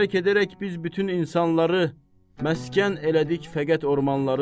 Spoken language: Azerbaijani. Tərk edərək biz bütün insanları məskən elədik fəqət ormanları.